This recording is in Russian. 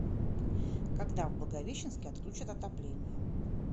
когда в благовещенске отключат отопление